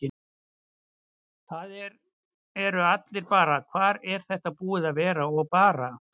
Það eru allir bara: Hvar er þetta búið að vera? og bara.